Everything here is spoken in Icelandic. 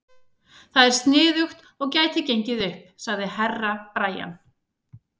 Það er sniðugt og gæti gengið upp, sagði Herra Brian.